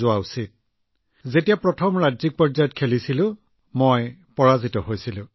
গতিকে মই ভাবিছিলো ঠিক আছে প্ৰথমে যেতিয়া মই ৰাজ্যিক পৰ্যায়ত খেলিছিলো মই সেইটোত পৰাস্ত হৈছিলো